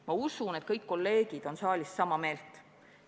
Ma usun, et kõik kolleegid on saalis sama meelt.